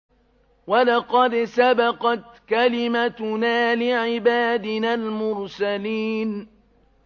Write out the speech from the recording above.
وَلَقَدْ سَبَقَتْ كَلِمَتُنَا لِعِبَادِنَا الْمُرْسَلِينَ